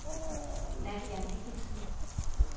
Nadja Mikkelsen